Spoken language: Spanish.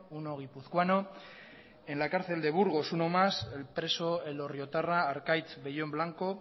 uno guipuzcoano en la cárcel de burgos uno más el preso elorriotarra arkaitz bellón blanco